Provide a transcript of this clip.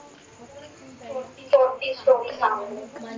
कोणती story सांगू?